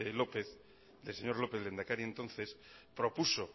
lópez lehendakari entonces propuso